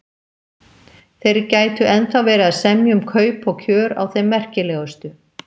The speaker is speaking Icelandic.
Þeir gætu ennþá verið að semja um kaup og kjör á þeim merkilegustu